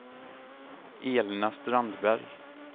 Elna Strandberg